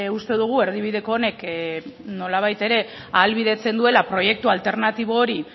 uste dugu erdibideko honek nolabait ere ahalbidetzen duela proiektu alternatibo hori